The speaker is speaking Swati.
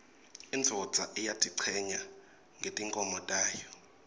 indvodza iyatichenya ngetimkhomo tayo